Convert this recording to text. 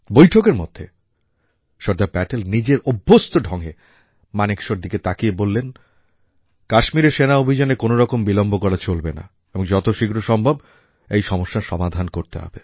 বৈঠকের মধ্যে সর্দার প্যাটেল নিজের অভ্যস্ত ঢংয়ে মানেকশর দিকে তাকিয়ে বলেন কাশ্মীরে সেনা অভিযানে কোনও রকম বিলম্ব করা চলবে না এবং যত শীঘ্র সম্ভব এই সমস্যার সমাধান করতে হবে